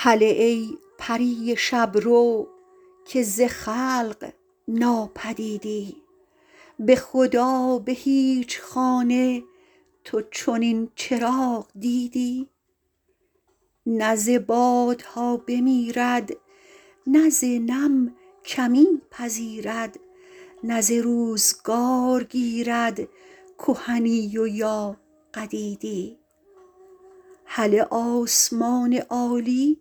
هله ای پری شب رو که ز خلق ناپدیدی به خدا به هیچ خانه تو چنین چراغ دیدی نه ز بادها بمیرد نه ز نم کمی پذیرد نه ز روزگار گیرد کهنی و یا قدیدی هله آسمان عالی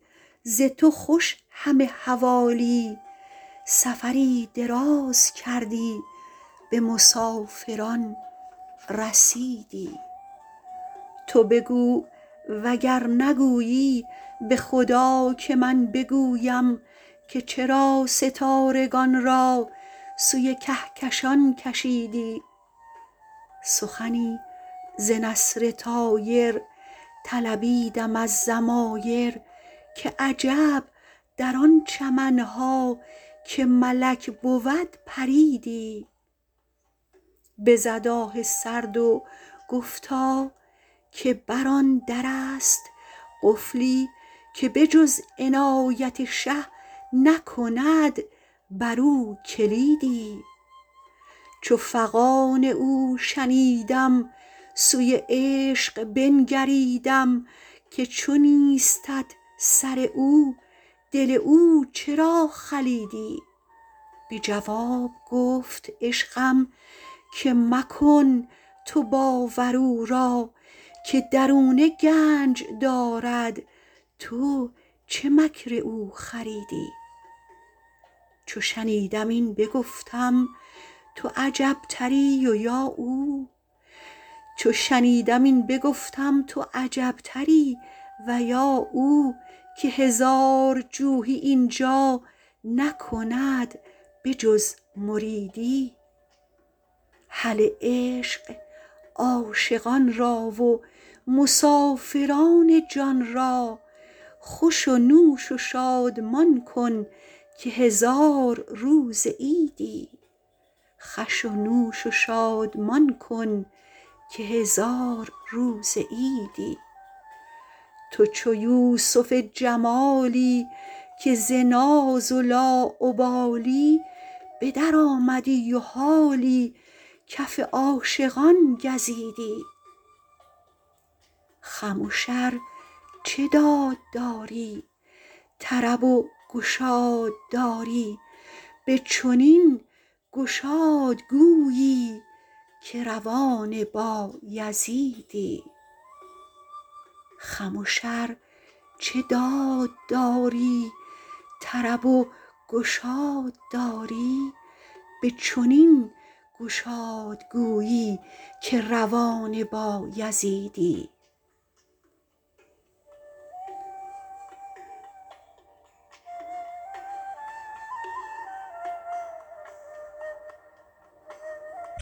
ز تو خوش همه حوالی سفری دراز کردی به مسافران رسیدی تو بگو وگر نگویی به خدا که من بگویم که چرا ستارگان را سوی کهکشان کشیدی سخنی ز نسر طایر طلبیدم از ضمایر که عجب در آن چمن ها که ملک بود پریدی بزد آه سرد و گفتا که بر آن در است قفلی که به جز عنایت شه نکند برو کلیدی چو فغان او شنیدم سوی عشق بنگریدم که چو نیستت سر او دل او چرا خلیدی به جواب گفت عشقم که مکن تو باور او را که درونه گنج دارد تو چه مکر او خریدی چو شنیدم این بگفتم تو عجبتری و یا او که هزار جوحی این جا نکند به جز مریدی هله عشق عاشقان را و مسافران جان را خوش و نوش و شادمان کن که هزار روز عیدی تو چو یوسف جمالی که ز ناز لاابالی به درآمدی و حالی کف عاشقان گزیدی خمش ار چه داد داری طرب و گشاد داری به چنین گشاد گویی که روان بایزیدی